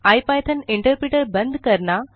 IPython interpreter बंद करना